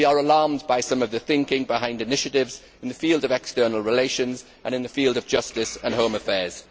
we are alarmed by some of the thinking behind initiatives in the field of external relations and in the field of justice and home affairs.